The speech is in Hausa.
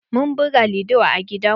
Mun buga lido a gidan mu.